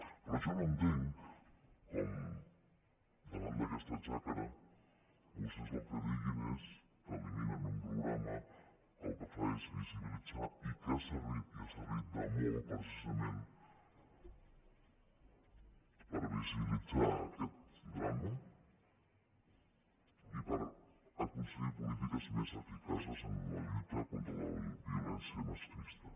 però jo no entenc com davant d’aquesta xacra vostès el que diguin és que eliminen un programa que el que fa és visibilitzar i que ha servit i ha servit de molt precisament per visibilitzar aquest drama i per aconseguir polítiques més eficaces en la lluita contra la violència masclista